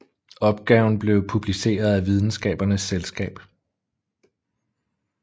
Opgaven blev publiceret af Videnskabernes Selskab